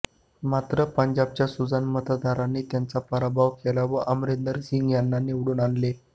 मात्र पंजाबच्या सुजाण मतदारांनी त्यांचा पराभव केला व अमरिंदरसिंग यांना निवडून आणले